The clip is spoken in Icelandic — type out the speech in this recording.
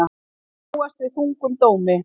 Má búast við þungum dómi